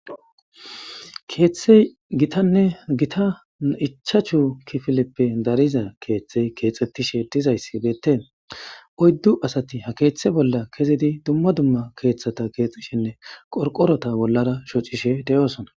Keeththey gitanne gita ichachu kifileppe dariza keeththey keexettishe dizayss beette oyddu asati ha keeththe bolla kezidi dumma dumma keeththata keexishenne qorqorota bollara shocishe deyoosona.